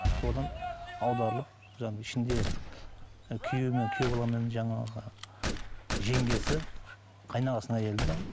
содан аударылып ішінде күйеуі мен күйеу бала мен жаңағы жеңгесі қайынағасының келді де